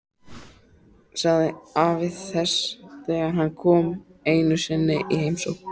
sagði afi þess þegar hann kom einu sinni í heimsókn.